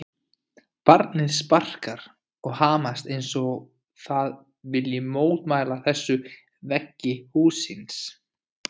Jafnvel slydduél á höfuðborgarsvæðinu